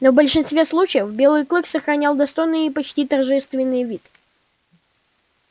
но в большинстве случаев белый клык сохранял достойный и почти торжественный вид